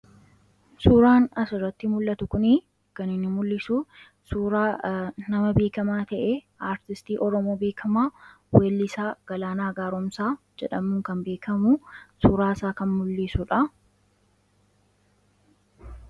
Suuraan asirratti mul'atu kunii ķan inni mul'isuun suuraa nama beekamaa ta'e, aartisti oromoo beekkamaa weellisaa Galaanaa Gaaromsaa jedhamuun kan beekamu suuraasaa kan mul'isudha.